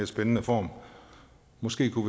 spændende form måske kunne